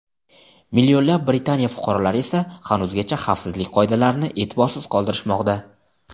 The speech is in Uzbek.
Millionlab Britaniya fuqarolari esa hanuzgacha xavfsizlik qoidalarini e’tiborsiz qoldirishmoqda.